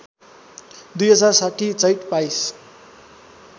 २०६० चैत २२